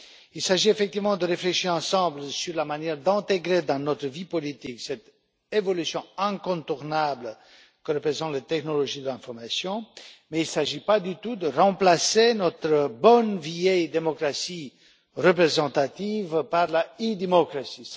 Il s'agit effectivement de réfléchir ensemble sur la manière d'intégrer dans notre vie politique cette évolution incontournable que constituent les technologies de l'information, mais il ne s'agit pas du tout de remplacer notre bonne vieille démocratie représentative par l'e démocratie.